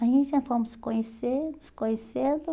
Aí, já fomos se conhecendo, se conhecendo.